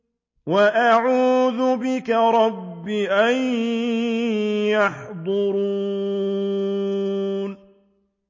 وَأَعُوذُ بِكَ رَبِّ أَن يَحْضُرُونِ